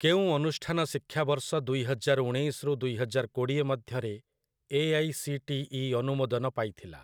କେଉଁ ଅନୁଷ୍ଠାନ ଶିକ୍ଷାବର୍ଷ ଦୁଇହଜାର ଉଣେଇଶ ରୁ ଦୁଇହଜାର କୋଡ଼ିଏ ମଧ୍ୟରେ ଏ.ଆଇ.ସି.ଟି.ଇ. ଅନୁମୋଦନ ପାଇଥିଲା?